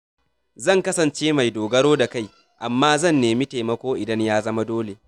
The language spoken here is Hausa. Zan kasance mai dogaro da kai, amma zan nemi taimako idan ya zama dole.